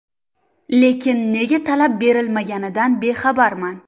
Lekin nega to‘lab berilmaganidan bexabarman.